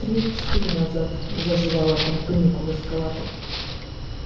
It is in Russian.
три-четыре назад зажевало там тунику в эскалатор